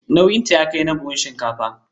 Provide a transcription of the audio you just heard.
Nauyinta ya kai na buhun shinkafa.